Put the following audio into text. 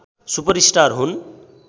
super star हुन्